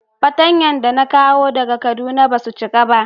Fatanya da na kawo daga kaduna ba su cika ba.